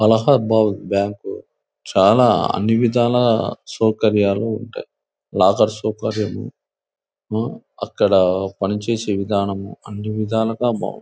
Allahabad bank చాలా అన్ని విధాలా సౌకర్యాలు ఉంటాయి. లాకర్ సౌకర్యము ఆ అక్కడ పని చేసే విధానము అన్ని విధాలుగా బావుంటాయి.